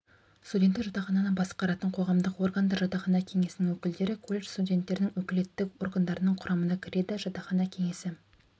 студенттік жатақхананы басқаратын қоғамдық органдар жатақхана кеңесінің өкілдері колледж студенттерінің өкілеттік органдарының құрамына кіреді жатақхана кеңесі